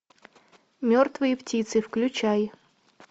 мертвые птицы включай